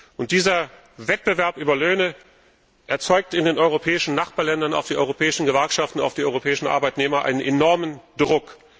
Und dieser Wettbewerb über Löhne erzeugt in den europäischen Nachbarländern, auf die europäischen Gewerkschaften, auf die europäischen Arbeitnehmer einen enormen Druck.